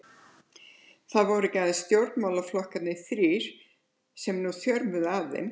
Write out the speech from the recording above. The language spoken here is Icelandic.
Það voru ekki aðeins stjórnarflokkarnir þrír, sem nú þjörmuðu að þeim.